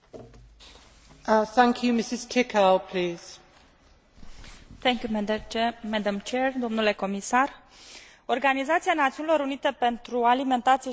Organizația Națiunilor Unite pentru Alimentație și Agricultură publica săptămâna trecută un raport care arăta că omenirea se află periculos de aproape de o nouă criză alimentară mondială.